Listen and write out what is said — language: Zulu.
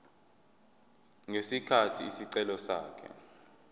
ngesikhathi isicelo sakhe